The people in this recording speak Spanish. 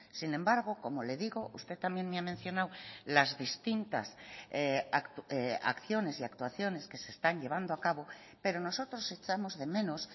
sin embargo como le digo usted también me ha mencionado las distintas acciones y actuaciones que se están llevando a cabo pero nosotros echamos de menos